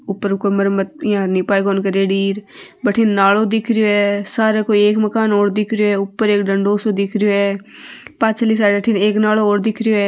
ऊपर बठीने न नालो दिख रो है सार कोई एक मकान और दिख रो है ऊपर एक डंडों सो दिख रहो है पाछली साइड अठीन नालो और दिख रो है।